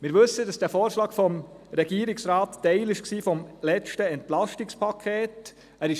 Der Vorschlag des Regierungsrats war Teil des